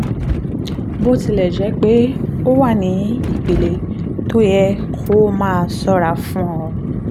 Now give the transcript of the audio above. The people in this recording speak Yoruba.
bó tilẹ̀ jẹ́ pé ó wà ní ìpele tó yẹ kó o máa ṣọ́ra fún ó